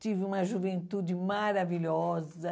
Tive uma juventude maravilhosa.